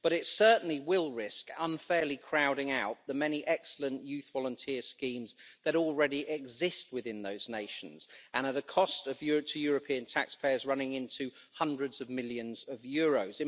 But it certainly will risk unfairly crowding out the many excellent youth volunteer schemes that already exist within those nations, and at a cost to European taxpayers running into hundreds of millions of euros.